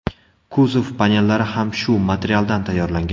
Kuzov panellari ham shu materialdan tayyorlangan.